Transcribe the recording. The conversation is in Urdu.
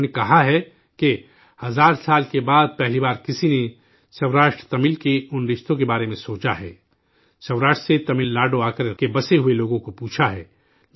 انہوں نے کہا ہے کہ ''ہزار سال کے بعد، پہلی بار کسی نے سوراشٹر تمل کے ان رشتوں کے بارے میں سوچا ہے، سوراشٹر سے تمل ناڈو آ کر آباد ہوئے لوگوں کو پوچھا ہے